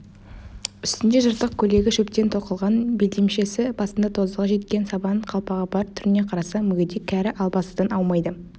үстінде жыртық көйлегі шөптен тоқылған белдемшесі басында тозығы жеткен сабан қалпағы бар түріне қарасаң мүгедек кәрі албастыдан аумайды